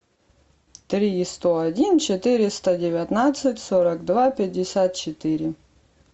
три сто один четыреста девятнадцать сорок два пятьдесят четыре